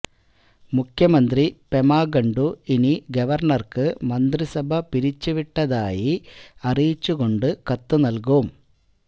മുഖ്യമന്ത്രി പെമാ ഖണ്ഡു ഇനി ഗവർണർക്ക് മന്ത്രിസഭ പിരിച്ചുവിട്ടതായി അറിയിച്ചുകൊണ്ട് കത്തുനൽകും